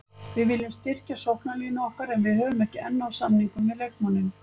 Við viljum styrkja sóknarlínu okkar en við höfum ekki enn náð samningum við leikmanninn.